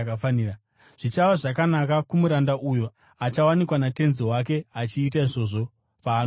Zvichava zvakanaka kumuranda uyo achawanikwa natenzi wake achiita izvozvo paanodzoka.